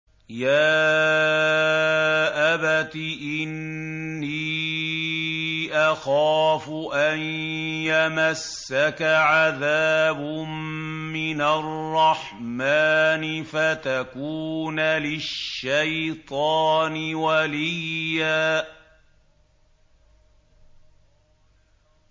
يَا أَبَتِ إِنِّي أَخَافُ أَن يَمَسَّكَ عَذَابٌ مِّنَ الرَّحْمَٰنِ فَتَكُونَ لِلشَّيْطَانِ وَلِيًّا